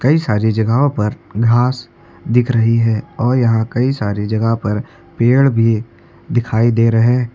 कई सारी जगहों पर घास दिख रही है और यहां कई सारे जगह पर पेड़ भी दिखाई दे रहे।